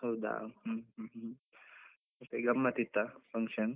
ಹೌದಾ, ಹ್ಮ್ ಹ್ಮ್ ಹ್ಮ್ ಮತ್ತೆ ಗಮ್ಮತ್ ಇತ್ತ function?